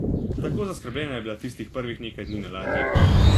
Tako zaskrbljena je bila tistih prvih nekaj dni na ladji.